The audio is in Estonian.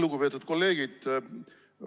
Lugupeetud kolleegid!